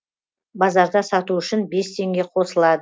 базарда сату үшін бес теңге қосылады